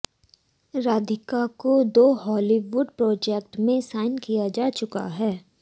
राधिका को दो Hollywood projects में साइन किया जा चुका है